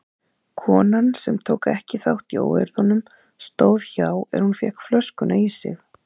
Konan sem tók ekki þátt í óeirðunum stóð hjá er hún fékk flöskuna í sig.